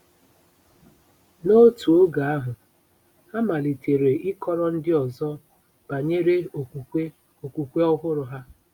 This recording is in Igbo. N'otu oge ahụ, ha malitere ịkọrọ ndị ọzọ banyere okwukwe okwukwe ọhụrụ ha.